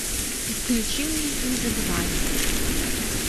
включи мне не забывай